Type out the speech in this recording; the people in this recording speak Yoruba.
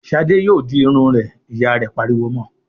"Ṣadé yóò di irun rẹ!" Ìyá rẹ̀ pariwo mọ.